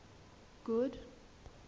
good